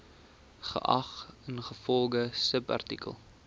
geag ingevolge subartikel